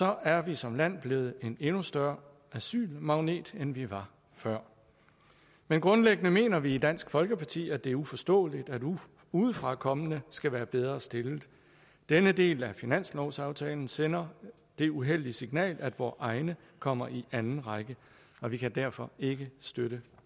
er vi som land blevet en endnu større asylmagnet end vi var før men grundlæggende mener vi i dansk folkeparti at det er uforståeligt at udefrakommende skal være bedre stillet denne del af finanslovsaftalen sender det uheldige signal at vore egne kommer i anden række og vi kan derfor ikke støtte